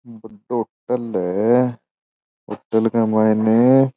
होटल है होटल के मायने --